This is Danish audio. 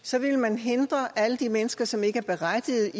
så ville man hindre alle de mennesker som ikke er berettiget